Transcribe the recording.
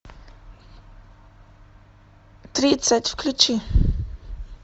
тридцать включи